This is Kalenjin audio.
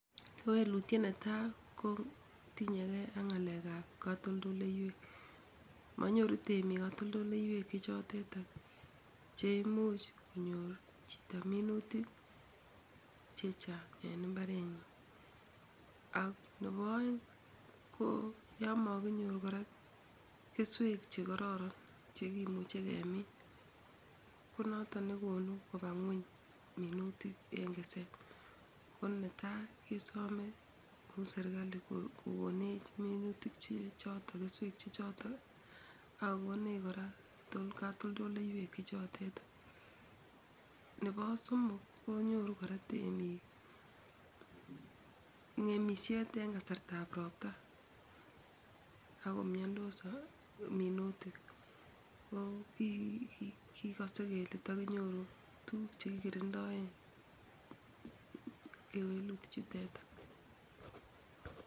Kewelutiet ne tai ko tinyekei ak ngalekab katoldoleiweek, manyoru temik katoldoleiweek chechoteet che imuch konyor chito minuutik chechang en imbarenyin. Ak nebo aeng ko yomokinyor kora kesweek chekororon chekimuche kemiin konotok nekonu koba ngueny minuutik en keseet, konetai kesome ku serikali kokonech minuutik chechoto kesweek chechotok ak kokonech kora katoldoleiweek chechoteet, nebo somok konyoru kora teemiik ngemisiet en kasartab ropta ako miandos minuutik ko kikose kele takinyoru tuguuk che kikirindoen kewelutichutetak.